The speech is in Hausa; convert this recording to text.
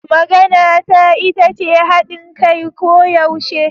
Maganata ita ce hadin kai koyaushe.